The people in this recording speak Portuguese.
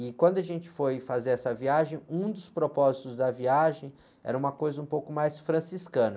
E quando a gente foi fazer essa viagem, um dos propósitos da viagem era uma coisa um pouco mais franciscana.